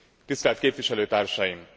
Tisztelt Képviselőtársaim!